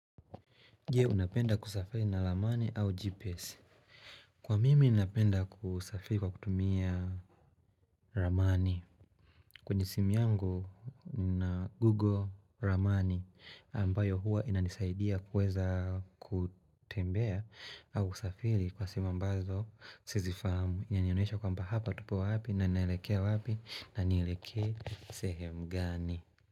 Je, unapenda kusafiri na ramani au GPS. Kwa mimi, unapenda kusafiri kwa kutumia ramani. Kwenye simu yangu, na google ramani ambayo hua inanisaidia kuweza kutembea au usafiri kwa sehemu ambazo sizi fahamu. Inyanyoneisha kwa mba hapa tupo wapi, na naelekea wapi, na nieleke sehemu gani.